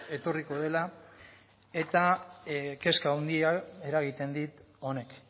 etorriko dela eta kezka handia eragiten dit honek